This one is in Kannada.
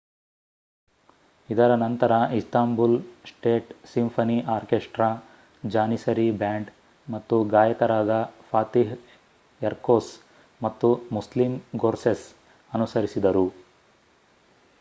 ಇದರ ನಂತರ Istanbul state symphony orchestra Janissary band ಮತ್ತು ಗಾಯಕರಾದ ಫಾತಿಹ್ ಎರ್ಕೊಸ್ ಮತ್ತು ಮುಸ್ಲೀಮ್ ಗೊರ್ಸೆಸ್ ಅನುಸರಿಸಿದರು